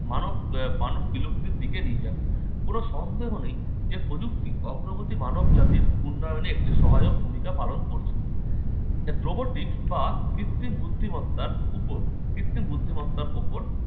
মানব আহ মানব বিলুপ্তির দিকে নিয়ে যাবে। কোন সন্দেহ নেই যে প্রযুক্তি অগ্রগতি মানব জাতির উন্নয়নে একটি সহায়ক ভূমিকা পালন করছে। robotic বা কৃত্রিম বুদ্ধিমত্তার উপর কৃত্রিম বুদ্ধিমত্তার ওপর